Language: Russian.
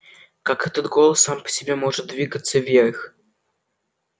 как этот голос сам по себе может двигаться вверх